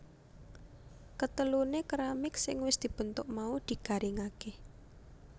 Keteluné keramik sing wis dibentuk mau digaringaké